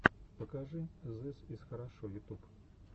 покажи зыс из хорошо ютуб